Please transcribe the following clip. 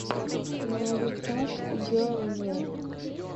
на ютуб герл ин ред